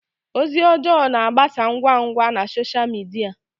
Ozi ọjọọ na-agbasa ngwa ngwa na sọsha midia.